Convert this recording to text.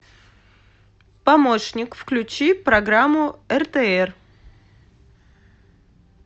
помощник включи программу ртр